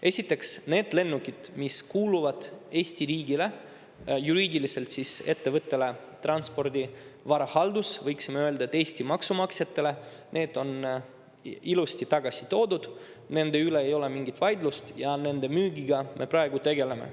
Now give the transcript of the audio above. Esiteks, need lennukid, mis kuuluvad Eesti riigile, juriidiliselt ettevõttele Transpordi Varahaldus, võiksime öelda, et Eesti maksumaksjatele, need on ilusti tagasi toodud, nende üle ei ole mingit vaidlust ja nende müügiga me praegu tegeleme.